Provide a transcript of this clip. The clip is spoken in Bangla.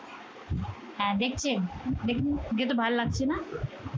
হ্যাঁ দেখছেন? দেখুন ভাল্লাগছে না?